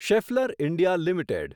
Schaeffler India limited